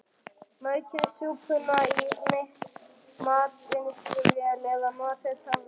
Maukið súpuna í matvinnsluvél eða notið töfrasprota.